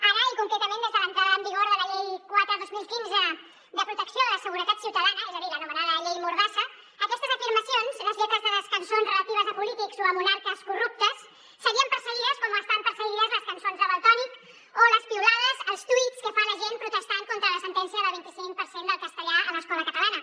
ara i concretament des de l’entrada en vigor de la llei quatre dos mil quinze de protecció de la seguretat ciutadana és a dir l’anomenada llei mordassa aquestes afirmacions les lletres de les cançons relatives a polítics o a monarques corruptes serien perse·guides com estan perseguides les cançons de valtònyc o les piulades els tuits que fa la gent protestant contra la sentència del vint·i·cinc per cent del castellà a l’escola catalana